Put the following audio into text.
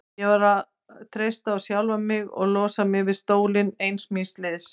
Ég varð að treysta á sjálfa mig og losa mig við stólinn ein míns liðs.